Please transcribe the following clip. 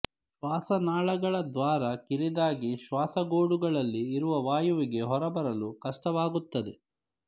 ಶ್ವಾಸನಾಳಗಳ ದ್ವಾರ ಕಿರಿದಾಗಿ ಶ್ವಾಸಗೂಡುಗಳಲ್ಲಿ ಇರುವ ವಾಯುವಿಗೆ ಹೊರಬರಲು ಕಷ್ಟವಾಗುತ್ತದೆ